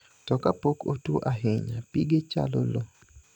To kapok otuo ahinya, pige chalo loo.